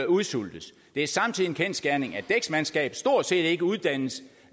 udsultes det er samtidig en kendsgerning at dæksmandskab stort set ikke uddannes